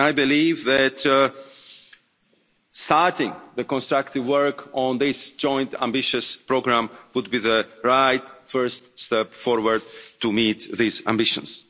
I believe that starting the constructive work on this joint ambitious programme would be the right first step forward to meet these ambitions.